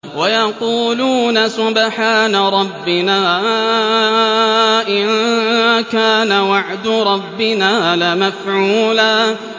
وَيَقُولُونَ سُبْحَانَ رَبِّنَا إِن كَانَ وَعْدُ رَبِّنَا لَمَفْعُولًا